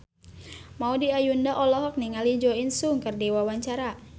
Maudy Ayunda olohok ningali Jo In Sung keur diwawancara